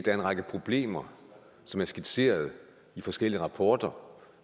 er en række problemer som er skitseret i forskellige rapporter